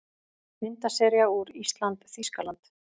Myndasería úr ÍSLAND- Þýskaland